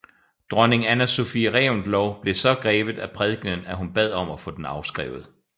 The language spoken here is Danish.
Dronning Anna Sophie Reventlow blev så grebet af prækenen at hun bad om at få den afskrevet